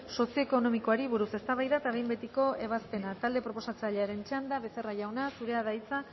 sozioekonomikoari buruz eztabaida eta behin betiko ebazpena talde proposatzailearen txanda becerra jauna zurea da hitza